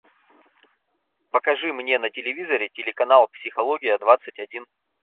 покажи мне на телевизоре телеканал психология двадцать один